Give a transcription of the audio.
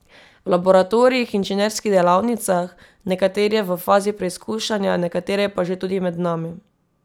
V laboratorijih, inženirskih delavnicah, nekatere v fazi preizkušanja, nekatere pa že tudi med nami.